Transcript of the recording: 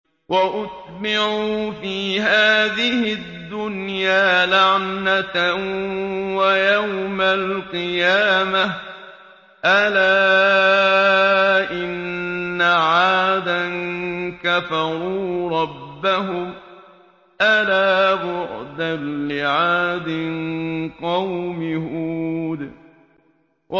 وَأُتْبِعُوا فِي هَٰذِهِ الدُّنْيَا لَعْنَةً وَيَوْمَ الْقِيَامَةِ ۗ أَلَا إِنَّ عَادًا كَفَرُوا رَبَّهُمْ ۗ أَلَا بُعْدًا لِّعَادٍ قَوْمِ هُودٍ